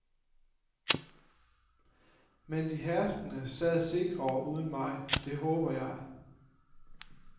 Men de herskende sad sikrere uden mig, det håbede jeg.